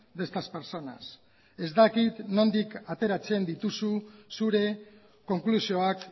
de estas personas ez dakit nondik ateratzen dituzu zure konklusioak